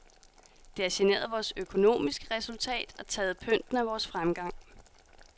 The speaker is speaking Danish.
Det har generet vores økonomiske resultat og taget pynten af vores fremgang.